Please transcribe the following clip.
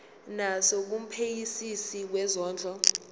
naso kumphenyisisi wezondlo